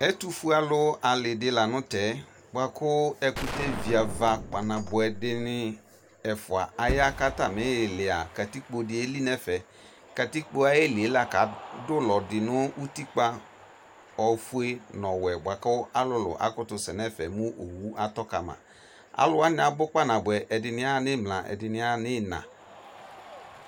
Ɛtofue alu ale lantɛ boako ɛkutɛ viava kpanaboɛ de ne ɛfua aya ko atame ilia katikpo de eli nɛfɛ Katikpo ayeli la ko ado ulɔ de no utikpa boako alu akoto se nɛfɛ mo owu atɔ kama Alu wane abu kpanaboɛ, ɛdene ya imla, ɛdene ya no ima